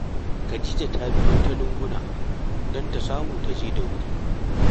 Khadija ta biyo ta lunguna don ta samu ta je da wuri